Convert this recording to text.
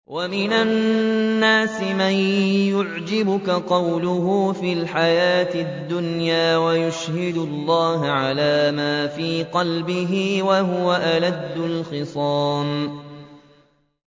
وَمِنَ النَّاسِ مَن يُعْجِبُكَ قَوْلُهُ فِي الْحَيَاةِ الدُّنْيَا وَيُشْهِدُ اللَّهَ عَلَىٰ مَا فِي قَلْبِهِ وَهُوَ أَلَدُّ الْخِصَامِ